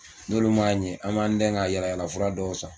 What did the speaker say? N'olu m'a ɲɛ an b'an dɛn ka yaala yaala fura dɔw san